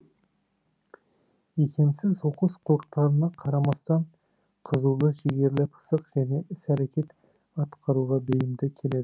икемсіз оқыс қылықтарына қарамастан қызулы жігерлі пысық және іс әрекет атқаруға бейімді келеді